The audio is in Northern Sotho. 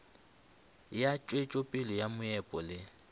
ya tšwetšopele ya meepo le